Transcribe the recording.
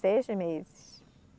Seis meses.